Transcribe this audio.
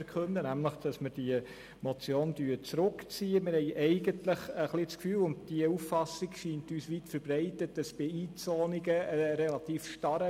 – Wir haben ein wenig das Gefühl, bei Einzonungen herrsche ein relativ starrer Mechanismus, und diese Auffassung scheint uns weit verbreitet zu sein.